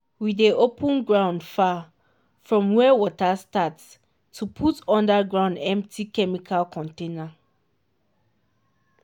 we dey open ground far from where water start to put under ground empty chemical container.